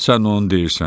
Sən onu deyirsən.